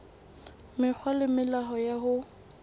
mekgwa le melao ya ho